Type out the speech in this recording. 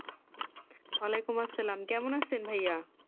আলেকুমঅসাল্লাম কেমন আছেন ভাইয়া